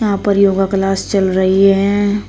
यहां पर yoga class चल रही है।